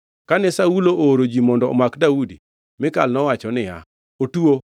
Kane Saulo ooro ji mondo omak Daudi, Mikal nowacho niya, “Otuo.”